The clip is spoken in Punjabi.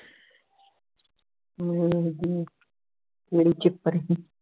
ਵੇਖਦੀ ਏਂ ਕਿਹੜੇ ਚਿਪਰ ਹੈ